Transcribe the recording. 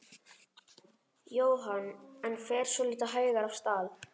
Jóhann: En fer svolítið hægar af stað?